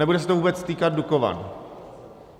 Nebude se to vůbec týkat Dukovan.